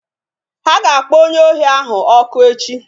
Ha ga-akpọ onye ohi ahụ ọkụ echi